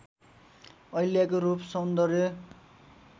अहिल्याको रूप सौन्दर्य